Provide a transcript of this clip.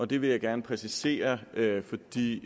det vil jeg gerne præcisere fordi